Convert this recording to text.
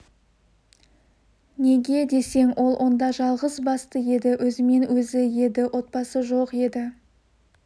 неге десең ол онда жалғыз басты еді өзімен-өзі еді отбасы жоқ еді